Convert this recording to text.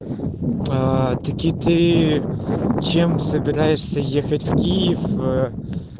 аа таки ты чем собираешься ехать в киев э